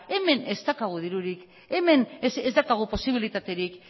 hemen ez daukagu dirurik hemen ez daukagu posibilitaterik